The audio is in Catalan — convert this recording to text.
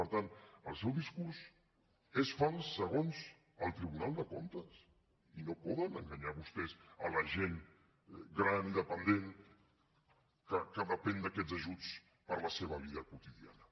per tant el seu discurs és fals segons el tribunal de comptes i no poden enganyar vostès la gent gran i dependent que depèn d’aquests ajuts per a la seva vida quotidiana